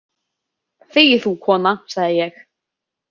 Þegi þú, kona, sagði ég.